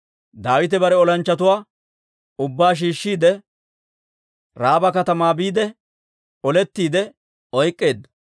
Daawite bare olanchchatuwaa ubbaa shiishshiide, Raaba katamaa biide, olettiide oyk'k'eedda.